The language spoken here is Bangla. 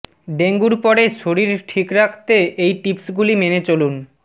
ডেঙ্গুর পরে শরীর ঠিক রাখতে এই টিপস গুলি মেনে চলুন